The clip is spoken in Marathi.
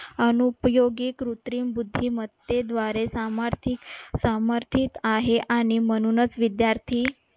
अनुपयोगी कृत्रिम बुद्धिमत्तेद्वारे आहे. आणि म्हणूनच विद्यार्थी